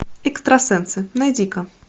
экстрасенсы найди ка